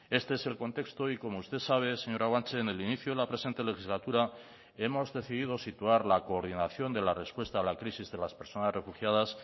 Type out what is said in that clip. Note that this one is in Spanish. este es el contexto y como usted sabe señora guanche en el inicio de la presente legislatura hemos decidido situar la coordinación de la respuesta a la crisis de las personas refugiadas